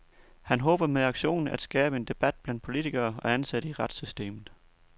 Han håber med aktionen at skabe en debat blandt politikere og ansatte i retssystemet.